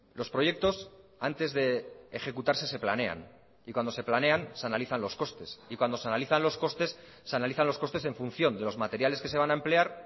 los proyectos antes de ejecutarse se planean y cuando se planean se analizan los costes y cuando se analizan los costes se analizan los costes en función de los materiales que se van a emplear